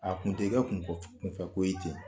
A kun tɛ kɛ kun kɔfɛ kun fɛ ko ye ten